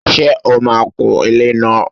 Ṣe ó maa kun ilẹ́ náà?